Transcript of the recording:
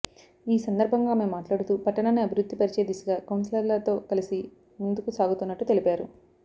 ఈ సందర్భంగా ఆమె మాట్లాడుతూ పట్టణాన్ని అభివృద్ధి పరచే దిశగా కౌన్సిలర్లతో కలిసి ముందుకుసాగుతున్నట్టు తెలిపారు